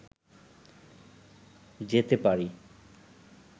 যেতে পারি